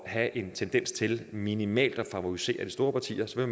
have en tendens til minimalt at favorisere de store partier så